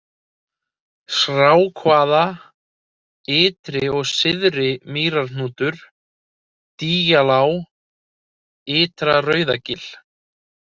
Srákavað, Ytri og Syðri-Mýrarhnútur, Dyjalág, Ytra-Rauðagil